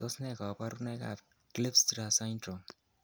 Tos nee koborunoikab Kleefstra syndrome?